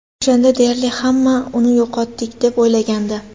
O‘shanda deyarli hamma uni yo‘qotdik, deb o‘ylagandi.